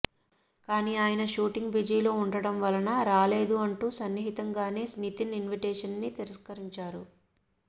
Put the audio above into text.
కానీ ఆయన షూటింగ్ బిజీలో ఉండడం వలన రాలేదు అంటూ సున్నితంగానే నితిన్ ఇన్విటేషన్ ని తిరస్కరించారు